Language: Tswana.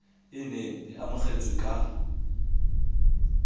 e neng e amogetswe ka